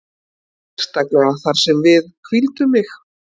Sérstaklega þar sem að við hvíldum mig.